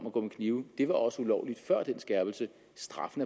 at gå med kniv var også ulovligt før den skærpelse straffen